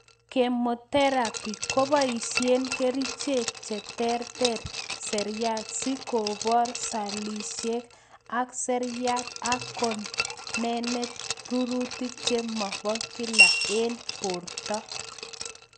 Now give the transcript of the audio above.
Chemotherapy koboisien kerichek chetere seriat si kobar sellishek ab seriat ak konenet rurutik che mob kila en borto